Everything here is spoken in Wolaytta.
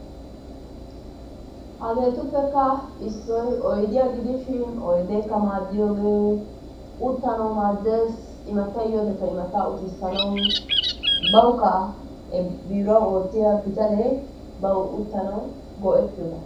Hageetuppekka issoy oydiyaa gidishin oydeekka maadiyoogee uttanawu maaddees. immattay yiyoo wodekka immattaa uttisanawu bawukka biruwaan oottiyaa bitaanee bawu uttanawu go"ettiyooba.